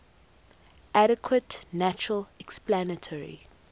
adequate natural explanatory